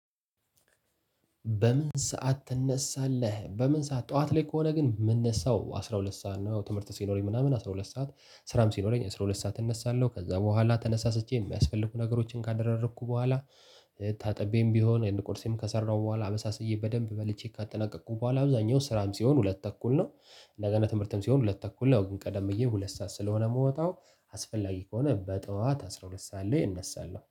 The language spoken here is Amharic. በምን ሰዓት ትነሳለህ? በምን ሰዓት ጠዋት ላይ ከሆነ ግን የምነሳው አስራ ሁለት ሰዓት ነው። ትምህርት ሲኖረኝ ምናምን አስራ ሁለት ሰዓት ስራም ሲኖረኝ አስራ ሁለት ሰዓት እነሳለሁ ከዛ በኋላ ተነሳስቼ የሚያስፈልጉ ነገሮችን ካደረኩ በኋላ ታጥቤም ቢሆን የን ቁርሴም ከሰራሁ በኋላ አበሳስዬ በደንብ በልቼ ካጠናቀቅኩ በኋላ አብዛኛው ስራም ሲሆን ሁለት ተኩል ነው። እንደገና ትምህርትም ሲሆን ሁለት ተኩል ነው። ግን ቀደም ብዬ ሁለት ሰዓት ስለሆነ የምወጣው አስፈላጊ ከሆነ በጠዋት አስራ ሁለት ሰዓት ላይ እነሳለሁ